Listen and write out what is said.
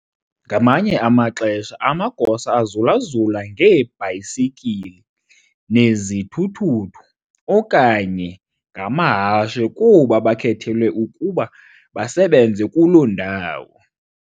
ngamanye amaxesha amagosa azulazula ngeebhayisikili, ngezithuthuthu, okanye ngamahashe kuba bakhethelwe ukuba basebenze kuloo ndawo.